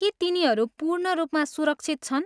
के तिनीहरू पूर्ण रूपमा सुरक्षित छन्?